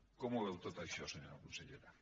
com ho veu tot això senyora consellera